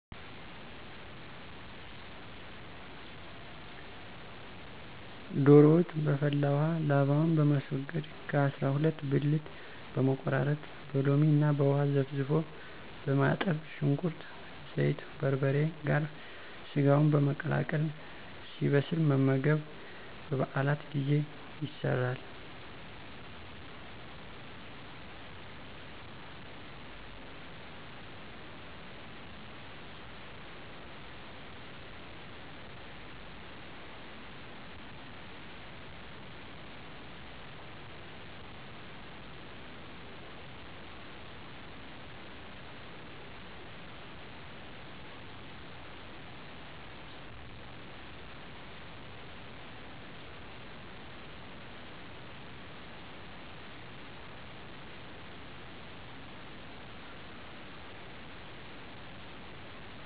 ዶሮ ወጥ' በፈላ ውሃ ላባውን በማስወገድ ከ. አሰራ ሁለት ብልት በመቆራረጥ በሎሚ እና ውሃ ዘፍዝፎ በማጠብ ሽንኩርት፣ ዘይት፣ በርበሬ ጋር ሰጋውን በመቀላቀል ሲበስል መመገብ። በ. በዓላት ጊዜ ይሰራል።